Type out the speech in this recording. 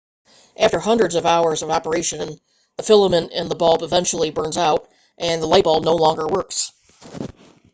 after hundreds of hours of operation the filament in the bulb eventually burns out and the light bulb no longer works